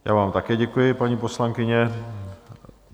Já vám také děkuji, paní poslankyně.